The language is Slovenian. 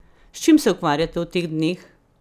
S čim se ukvarjate v teh dneh?